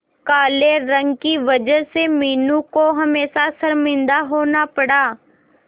काले रंग की वजह से मीनू को हमेशा शर्मिंदा होना पड़ा